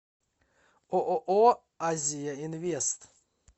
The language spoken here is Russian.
ооо азияинвест